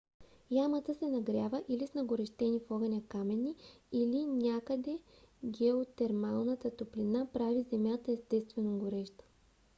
ямата се нагрява или с нагорещени в огън камъни или някъде геотермалната топлина прави земята естествено гореща